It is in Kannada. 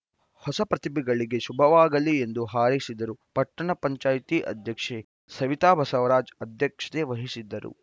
ಹೊಸ ಪ್ರತಿಭೆಗಳಿಗೆ ಶುಭವಾಗಲಿ ಎಂದು ಹಾರೈಸಿದರು ಪಟ್ಟಣ ಪಂಚಾಯಿತಿ ಅಧ್ಯಕ್ಷೆ ಸವಿತಾ ಬಸವರಾಜ್‌ ಅಧ್ಯಕ್ಷತೆ ವಹಿಸಿದ್ದರು